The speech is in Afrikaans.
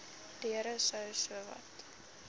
deure sou sowat